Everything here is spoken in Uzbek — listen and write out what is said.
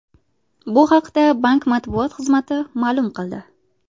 Bu haqda bank matbuot xizmati ma’lum qildi .